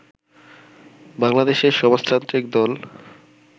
বাংলাদেশের সমাজতান্ত্রিক দল